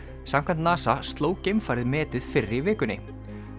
samkvæmt NASA sló geimfarið metið fyrr í vikunni